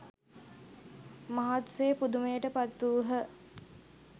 මහත් සේ පුදුමයට පත්වූහ